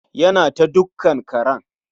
Ya na ta dukkan karen.